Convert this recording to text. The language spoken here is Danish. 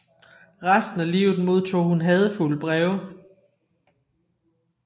Resten af livet modtog hun hadefulde breve